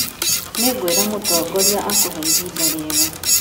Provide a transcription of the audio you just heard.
Nĩngwĩra mũtongoria akũhe ihinda rĩega